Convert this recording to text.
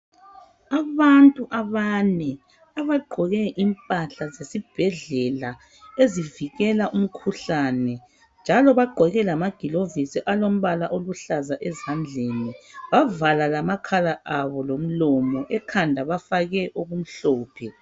Abantu abane abagqoke impahla zesibhedlela ezivikela umkhuhlane njalo bagqoke lamagilovisi alombala oluhlaza ezandleni bavala lamakhala abo lomlomo ekhanda bafake okumhlophe.